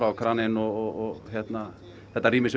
kraninn og þetta rými sem